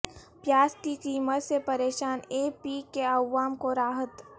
پیاز کی قیمت سے پریشان اے پی کے عوام کو راحت